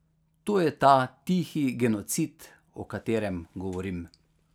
To je ta tihi genocid, o katerem govorim.